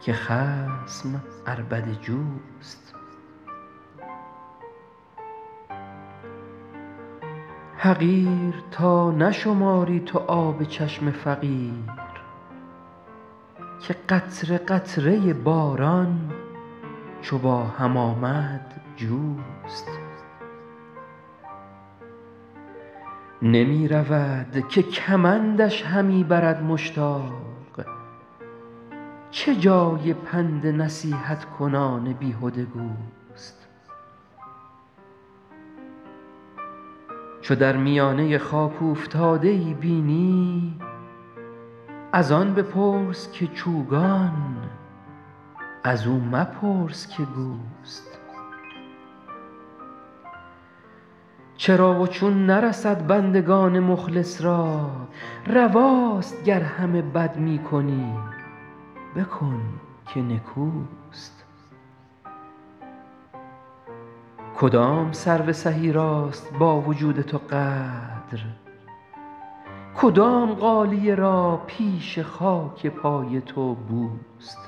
که خصم عربده جوست حقیر تا نشماری تو آب چشم فقیر که قطره قطره باران چو با هم آمد جوست نمی رود که کمندش همی برد مشتاق چه جای پند نصیحت کنان بیهده گوست چو در میانه خاک اوفتاده ای بینی از آن بپرس که چوگان از او مپرس که گوست چرا و چون نرسد بندگان مخلص را رواست گر همه بد می کنی بکن که نکوست کدام سرو سهی راست با وجود تو قدر کدام غالیه را پیش خاک پای تو بوست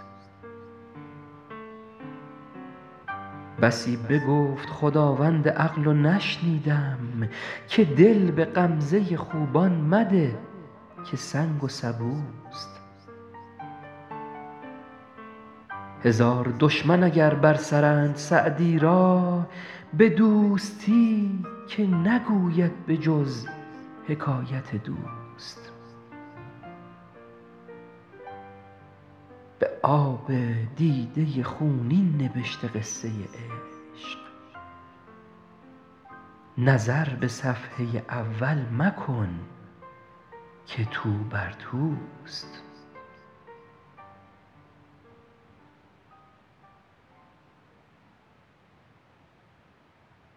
بسی بگفت خداوند عقل و نشنیدم که دل به غمزه خوبان مده که سنگ و سبوست هزار دشمن اگر بر سرند سعدی را به دوستی که نگوید به جز حکایت دوست به آب دیده خونین نبشته قصه عشق نظر به صفحه اول مکن که توبر توست